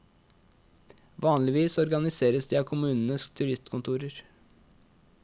Vanligvis organiseres de av kommunenes turistkontorer.